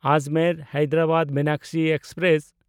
ᱟᱡᱽᱢᱮᱨ–ᱦᱟᱭᱫᱟᱨᱟᱵᱟᱫ Meenakshi express